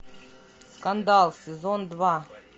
скандал сезон два